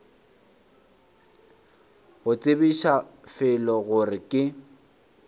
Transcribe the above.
go tsebiša fela gore ke